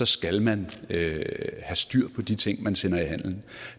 skal man have styr på de ting man sender i handelen